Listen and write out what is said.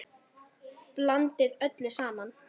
Blandið öllu saman.